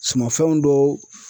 Sumanfɛnw dɔw.